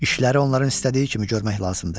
İşləri onların istədiyi kimi görmək lazımdır.